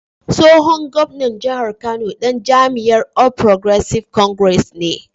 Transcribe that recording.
Tsohon gwamnan jihar Kano dan jam’iyyar All Progressives Congress (APC) ne.